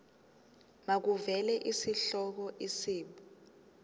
makuvele isihloko isib